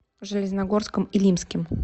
железногорском илимским